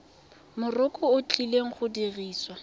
mokoro o tlileng go dirisiwa